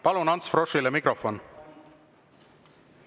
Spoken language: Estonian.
Palun Ants Froschile mikrofon!